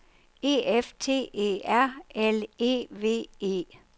E F T E R L E V E